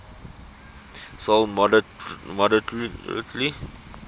sold moderately